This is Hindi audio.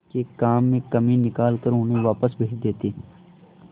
के काम में कमी निकाल कर उन्हें वापस भेज देते थे